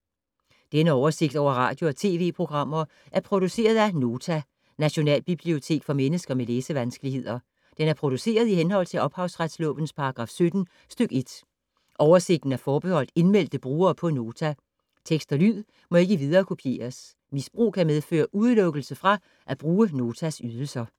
Denne oversigt over radio og TV-programmer er produceret af Nota, Nationalbibliotek for mennesker med læsevanskeligheder. Den er produceret i henhold til ophavsretslovens paragraf 17 stk. 1. Oversigten er forbeholdt indmeldte brugere på Nota. Tekst og lyd må ikke viderekopieres. Misbrug kan medføre udelukkelse fra at bruge Notas ydelser.